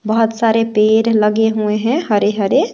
बहुत सारे पेड़ लगे हुए हैं हरे हरे।